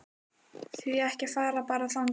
Því ekki að fara bara þangað?